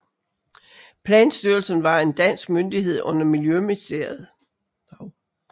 Planstyrelsen var en dansk myndighed under Miljøministeriet